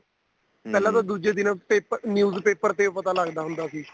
ਪਹਿਲਾਂ ਤਾਂ ਦੂਜੇ ਦਿਨ paper news paper ਤੇ ਓ ਪਤਾ ਲੱਗਦਾ ਹੁੰਦਾ ਸੀ